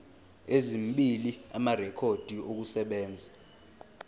ezimbili amarekhodi okusebenza